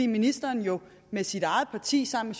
ministeren med sit eget parti sammen